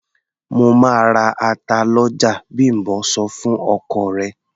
"Mo máa ra ata lọ́jà", Bím̀bọ́ sọ fún ọkọ rẹ̀.